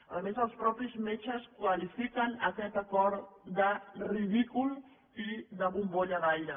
a més els mateixos metges qualifiquen aquest acord de ridícul i de bombolla d’aire